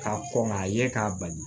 K'a kɔn k'a ye k'a bali